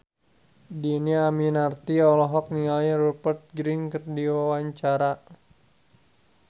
Dhini Aminarti olohok ningali Rupert Grin keur diwawancara